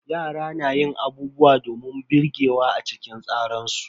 Yara na yin abubuwa domin birgewa a cikin tsaran su.